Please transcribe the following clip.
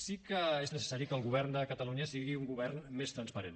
sí que és necessari que el govern de catalunya sigui un govern més transparent